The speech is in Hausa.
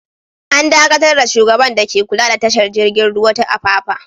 An dakatar da shugaban dake kula da tashar jiragen ruwa ta Apapa.